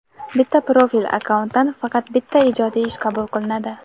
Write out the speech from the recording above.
Bitta profil (akkaunt)dan faqat bitta ijodiy ish qabul qilinadi.